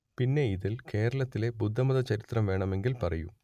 പിന്നെ ഇതിൽ കേരളത്തിലെ ബുദ്ധമത ചരിത്രം വേണമെങ്കിൽ പറയൂ